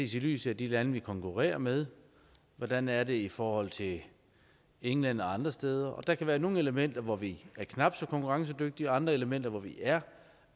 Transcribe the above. ses i lyset af de lande vi konkurrerer med hvordan er det i forhold til england og andre steder der kan være nogle elementer hvor vi er knap så konkurrencedygtige og andre elementer hvor vi er